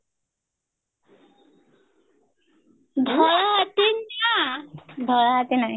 ଧଳା ହାତୀ ନା ଧଳା ହାତୀ ନାଇଁ